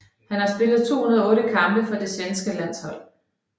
Han har spillet 208 kampe for det svenske landshold